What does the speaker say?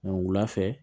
wulafɛ